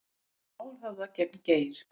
Mál höfðað gegn Geir